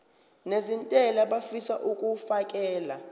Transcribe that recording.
nezentela abafisa uukfakela